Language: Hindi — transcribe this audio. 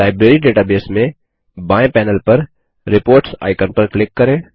लाइब्रेरी डेटाबेस में बाएँ पैनल पर रिपोर्ट्स आइकन पर क्लिक करें